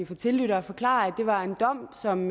for tilhørere forklare at det var en dom som